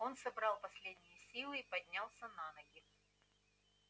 он собрал последние силы и поднялся на ноги